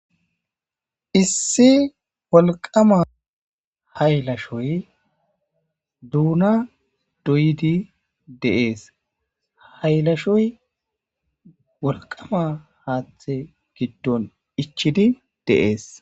Issi wolqama haylashoy duuna doydi deees haylashoy wolqama haaththe giddon ichidi deees